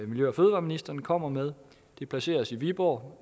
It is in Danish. miljø og fødevareministeren kommer med det placeres i viborg